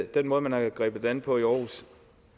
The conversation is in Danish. den måde man har grebet det an på i aarhus